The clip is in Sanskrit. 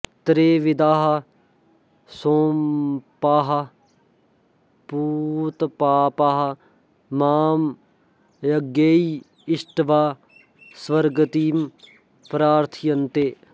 त्रैविद्याः सोमपाः पूतपापाः मां यज्ञैः इष्ट्वा स्वर्गतिं प्रार्थयन्ते